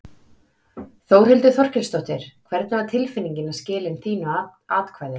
Þórhildur Þorkelsdóttir: Hvernig var tilfinningin að skila inn þínu atkvæði?